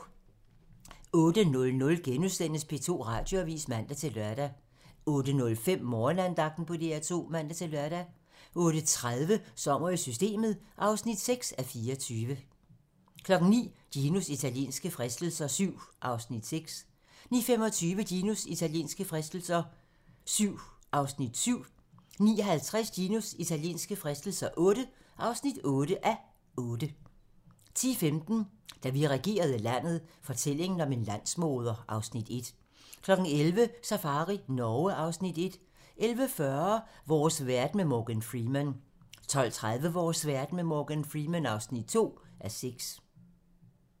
08:00: P2 Radioavis *(man-lør) 08:05: Morgenandagten på DR2 (man-lør) 08:30: Sommer i Systemet (6:24) 09:00: Ginos italienske fristelser VII (6:8) 09:25: Ginos italienske fristelser VII (7:8) 09:50: Ginos italienske fristelser VII (8:8) 10:15: Da vi regerede landet - fortællingen om en landsmoder (Afs. 1) 11:00: Safari Norge (Afs. 1) 11:40: Vores verden med Morgan Freeman 12:30: Vores verden med Morgan Freeman (2:6)